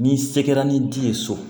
N'i se kɛra ni di ye so